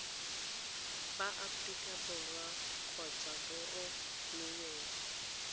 ba aforika borwa kgotsa boromiweng